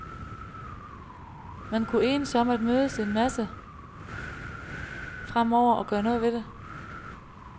Man kunne enes om at mødes en masse fremover og gøre noget ved det.